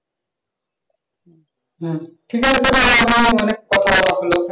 হম ঠিক আছে তাহলে এবার অনেক কথা বলা হল।